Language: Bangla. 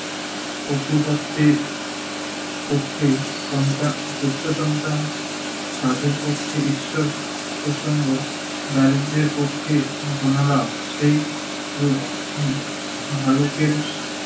পক্ষেই সন্তা~ গুপ্ত সন্তান, সাধুর পক্ষে ঈশ্বর প্রসঙ্গ, দারিদ্রের পক্ষে ধনলাভ সেইরূপ হম ভালুকের